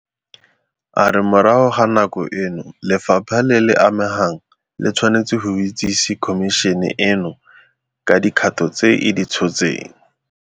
A re morago ga nako eno lefapha le le amegang le tshwanetse go itsese Khomišene eno ka dikgato tse e di tshotseng.